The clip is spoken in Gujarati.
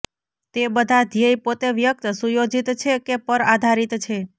તે બધા ધ્યેય પોતે વ્યક્તિ સુયોજિત છે કે પર આધારિત છે